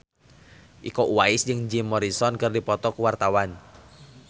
Iko Uwais jeung Jim Morrison keur dipoto ku wartawan